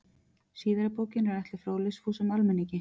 Síðari bókin er ætluð fróðleiksfúsum almenningi.